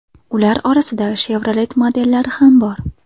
Ular orasida Chevrolet modellari ham bor.